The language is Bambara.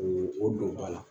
O o don ba la